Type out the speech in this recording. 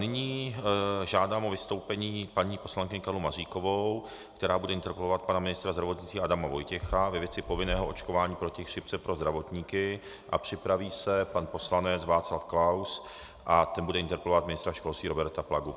Nyní žádám o vystoupení paní poslankyni Karlu Maříkovou, která bude interpelovat pana ministra zdravotnictví Adama Vojtěcha ve věci povinného očkování proti chřipce pro zdravotníky, a připraví se pan poslanec Václav Klaus a ten bude interpelovat ministra školství Roberta Plagu.